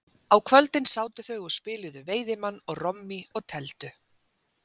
Á kvöldin sátu þau og spiluðu veiðimann og rommí og tefldu.